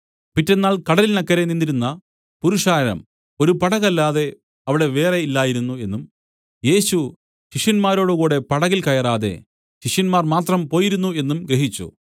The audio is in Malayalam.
പിറ്റെന്നാൾ കടലിനക്കരെ നിന്നിരുന്ന പുരുഷാരം ഒരു പടകല്ലാതെ അവിടെ വേറെ ഇല്ലായിരുന്നു എന്നും യേശു ശിഷ്യന്മാരോടുകൂടെ പടകിൽ കയറാതെ ശിഷ്യന്മാർ മാത്രം പോയിരുന്നു എന്നും ഗ്രഹിച്ചു